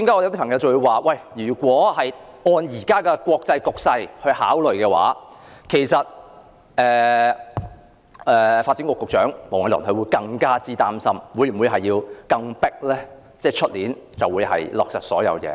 有人指出，如果按照現時的國際局勢來看，發展局局長黃偉綸可能會更擔心是否有需要盡快在明年落實所有事情。